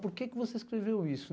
Por que você escreveu isso?